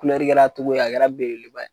Kulɛri kɛra cogo a kɛra belebeleba ye